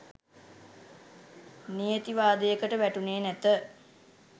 නියතිවාදයකට වැටුණේ නැත